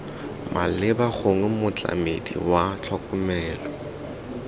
maleba gongwe motlamedi wa tlhokomelo